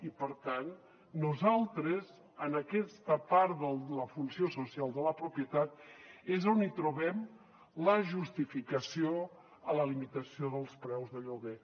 i per tant nosaltres en aquesta part de la funció social de la propietat és on hi trobem la justificació a la limitació dels preus de lloguer